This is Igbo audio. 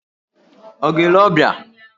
Ọ̀ ga-ele ọbịa?